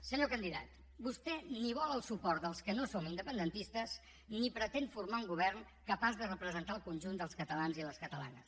senyor candidat vostè ni vol el suport dels que no som independentistes ni pretén formar un govern capaç de representar el conjunt dels catalans i les catalanes